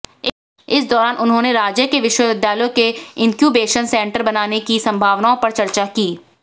इस दौरान उन्होंने राज्य के विश्वविद्यालयों में इन्क्यूबेशन सेंटर बनाने की संभावनाओं पर चर्चा की